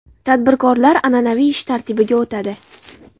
Tadbirkorlar an’anaviy ish tartibiga o‘tadi.